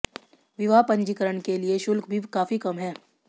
विवाह पंजीकरण के लिए शुल्क भी काफी कम है